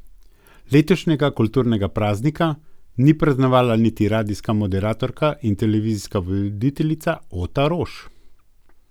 Letošnjega kulturnega praznika ni praznovala niti radijska moderatorka in televizijska voditeljica Ota Roš.